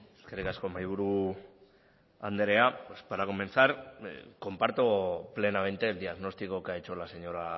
eskerrik asko mahaiburu andrea pues para comenzar comparto plenamente el diagnóstico que ha hecho la señora